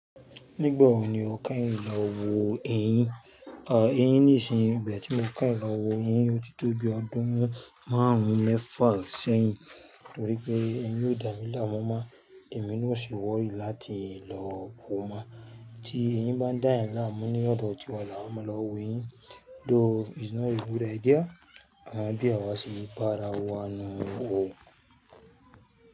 Nígbà wo ni o kẹ́yìn lọ wò ẹyìn? À, ẹyìn nìṣinyi, ìgbà tí mo kẹ́yìn lowò ẹyìn yóò ti tó bí ọdún márùn-ún mẹ́fà rẹ sẹ́yìn. Nítorí pé ẹyìn yóò dà mí láàmú mọ́, èmi ni ò sì worry láti lọ wò mọ́ tí ẹyìn ń bá dà èèyàn làámú ní ọ̀dọ̀ tí wá là á máa lọ wo ẹyìn. Though it's not a good idea bí àwa ṣe bá ara wa nun un o.